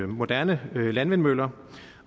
moderne landvindmøller